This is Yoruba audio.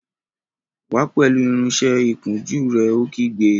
Wá pẹ̀lú irinsẹ́ ìkunjú rẹ̀! Ó kígbe